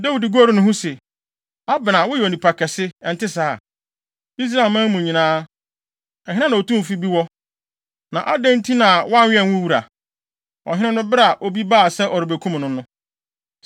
Dawid goruu ne ho se, “Abner, woyɛ onipa kɛse, ɛnte saa? Israelman mu nyinaa, ɛhe na otumfo bi wɔ? Na adɛn nti na woannwɛn wo wura, ɔhene no bere a obi baa sɛ ɔrebekum no no?